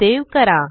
save करा